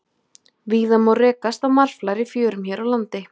víða má rekast á marflær í fjörum hér á landi